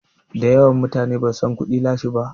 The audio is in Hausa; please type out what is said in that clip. dayawa mutane ba su San kudin lashi ba